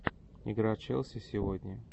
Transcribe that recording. игра челси сегодня